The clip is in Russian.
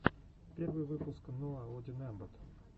первый выпуск ноаодинэмбот